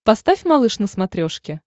поставь малыш на смотрешке